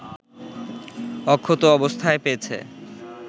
অক্ষত অবস্থায় পেয়েছে